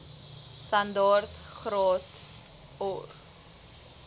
standaard graad or